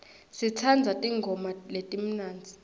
sitsandza tingoma letimnandzi